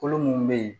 Kolo mun bɛ yen